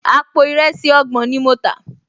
Àpò ìrẹsì ọgbọ̀n ni mo tà